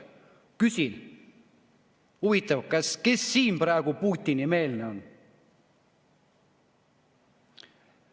Küsin: huvitav, kes siin praegu Putini-meelne on?